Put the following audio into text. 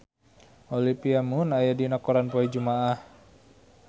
Olivia Munn aya dina koran poe Jumaah